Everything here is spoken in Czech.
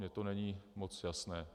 Mně to není moc jasné.